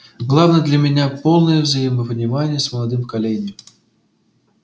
главное для меня полное взаимопонимание с молодым поколением